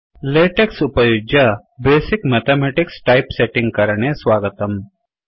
LaTeX उपयुज्य basic mathematics typesetting करणे स्वागतम्